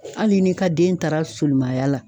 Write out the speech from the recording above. Hali ni ka den taara soliman ya la